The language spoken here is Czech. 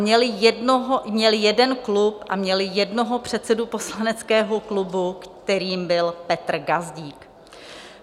Měli jeden klub a měli jednoho předsedu poslaneckého klubu, kterým byl Petr Gazdík.